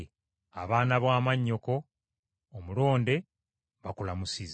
Abaana ba mwannyoko omulonde bakulamusizza.